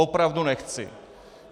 Opravdu nechci.